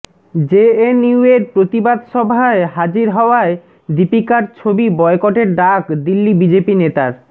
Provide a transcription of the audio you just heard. জেএনইউয়ের প্রতিবাদ সভায় হাজির হওয়ায় দীপিকার ছবি বয়কটের ডাক দিল্লি বিজেপি নেতার